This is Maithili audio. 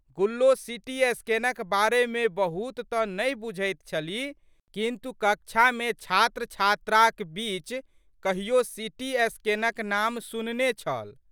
गुल्लो सिटीस्कैनक बारेमे बहुत तऽ नहि बुझैत छलि किन्तु, कक्षामे छात्रछात्राक बीच कहियो सीटीस्कैनक नाम सुनने छल।